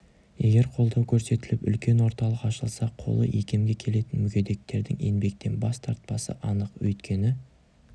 егер қолдау көрсетіліп үлкен орталық ашылса қолы икемге келетін мүгедектердің еңбектен бас тартпасы анық өйткені